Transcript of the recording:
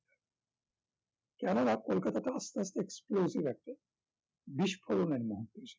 কেননা কোলকাতাতে আস্তে আস্তে explosive act এ বিস্ফোরণের মহদেশ্যে